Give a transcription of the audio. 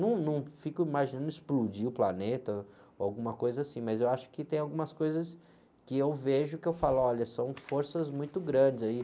Eu num, não fico imaginando explodir o planeta ou alguma coisa assim, mas eu acho que tem algumas coisas que eu vejo que eu falo, olha, são forças muito grandes aí.